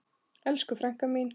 Elsku frænka mín.